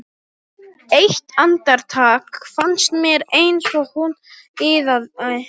Eitt andartak fannst mér eins og hún iðaði.